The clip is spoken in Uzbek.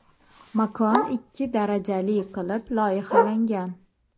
Makon ikki darajali qilib loyihalangan.